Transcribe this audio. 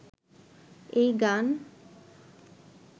এই গান